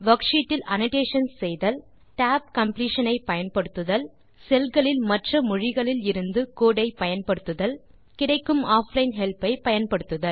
worksheet இல் annotations செய்தல் tab completion ஐ பயன்படுத்த செல் களில் மற்ற மொழிகளில் இருந்து கோடு ஐ பயன்படுத்த கிடைக்கும் ஆஃப்லைன் ஹெல்ப் ஐ பயன்படுத்த